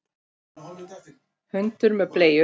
Hundur með bleiu!